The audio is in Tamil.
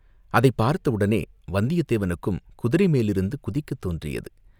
அதைப் பார்த்த உடனே வந்தியத்தேவனுக்கும் குதிரை மேலிருந்து குதிக்கத் தோன்றியது.